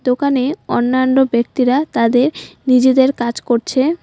দোকানে অন্যান্য ব্যক্তিরা তাদের নিজেদের কাজ করছে।